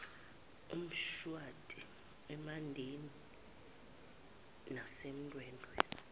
emshwathi emandeni nasendwedwe